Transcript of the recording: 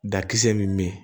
Dakisɛ min